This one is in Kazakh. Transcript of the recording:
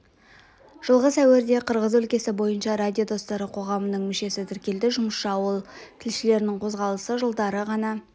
жылғы сәуірде қырғыз өлкесі бойынша радио достары қоғамының мүшесі тіркелді жұмысшы ауыл тілшілерінің қозғалысы жылдары ғана